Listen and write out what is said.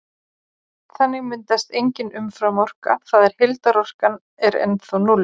Þannig myndast engin umframorka, það er heildarorkan er ennþá núll.